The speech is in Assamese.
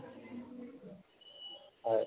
হয়